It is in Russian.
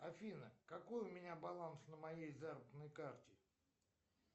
афина какой у меня баланс на моей заработной карте